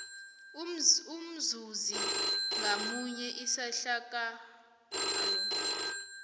umzuzi ngamunye isehlakalo